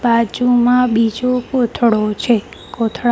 બાજુમાં બીજો કોથળો છે કોથળા--